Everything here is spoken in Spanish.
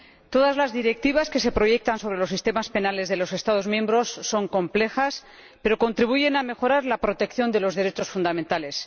Todas las directivas que se proyectan sobre los sistemas penales de los Estados miembros son complejas, pero contribuyen a mejorar la protección de los derechos fundamentales.